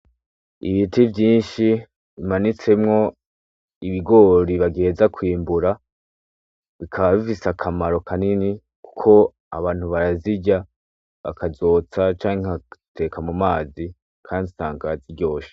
Ibiti vyinshi bimanitsemwo ibigori bagiheza kwimbura bikaba bifise akamaro kanini kuko abantu barazirya canke bakziteka mumazi, kandi usanga ziryoshe.